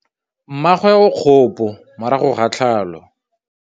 Mmagwe o kgapô morago ga tlhalô.